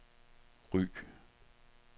Ry